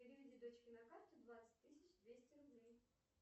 переведи дочке на карту двадцать тысяч двести рублей